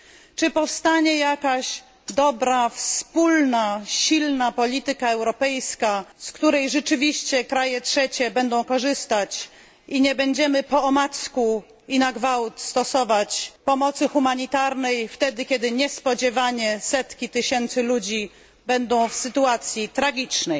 Czy powstanie jakaś dobra, wspólna, silna polityka europejska, z której rzeczywiście kraje trzecie będą korzystać i nie będziemy po omacku i na gwałt stosować pomocy humanitarnej wtedy, kiedy niespodziewanie setki tysięcy ludzi znajdą się w sytuacji tragicznej?